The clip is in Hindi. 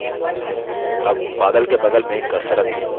अब बादल के बगल में cursor रखें